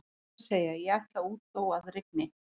Rétt er að segja: ég ætla út þó að rigni